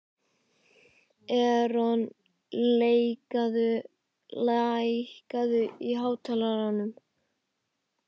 Eron, lækkaðu í hátalaranum.